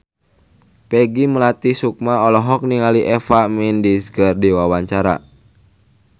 Peggy Melati Sukma olohok ningali Eva Mendes keur diwawancara